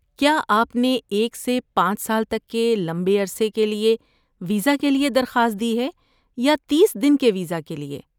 کیا آپ نے ایک سے پانچ سال تک کے لمبے عرصے کے ویزا کے لیے درخواست دی ہے یا تیس دن کے ویزا کے لیے؟